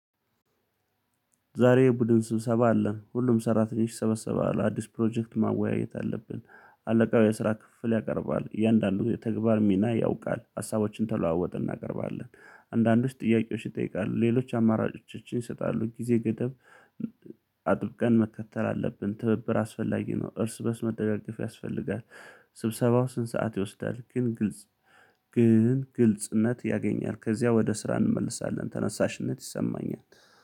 ዛሬ ቡድን ስብሰባ አለ ሁሉም ሰራተኞች ይሰበሰባሉ አዲስ ፕሮጀክት ማወያየት አለብን። አለቃው የስራ ክፍፍል ያቀርባል እያንዳንዱ የተግባር ሚና ያውቃል ሀሳባችን ተለዋውጠን እናቀርባለን። አንዳንዶች ጥያቄዎች ይጠይቃሉ ሌሎች አማራጮችን ይሰጣሉ ጊዜ ገደብ። አጥብቀን መከተል አለብን ትብብር አስፈላጊ ነው እርስ በእርስ መደጋገፍ ያስፈልጋል። ስብሰባው ስንት ሰዓት ይወስዳል? ግን ግልጽ ግን ግልጽነት ያገኛል። ከዚያ ወደ ስራ እንመለሳለን ተነሳሽነት ይሰማኛል